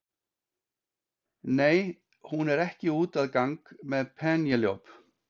Nei, hún er ekki úti að gang með Penélope.